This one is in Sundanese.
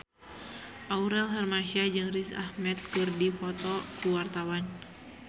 Aurel Hermansyah jeung Riz Ahmed keur dipoto ku wartawan